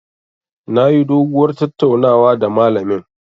Nayi doguwar tattaunawa da malamin.